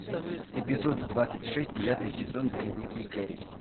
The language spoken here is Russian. эпизод двадцать шесть девятый сезон дневники кэрри